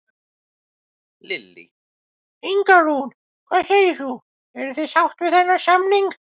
Lillý: Inga Rún, hvað segir þú, eruð þið sátt við þennan samning?